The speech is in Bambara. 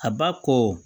A ba kɔ